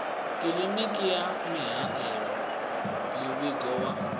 kiḽiniki wa mihaelo muvhigo wa